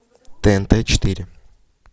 тнт четыре